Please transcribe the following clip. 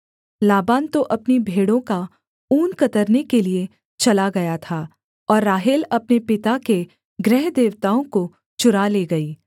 लाबान तो अपनी भेड़ों का ऊन कतरने के लिये चला गया था और राहेल अपने पिता के गृहदेवताओं को चुरा ले गई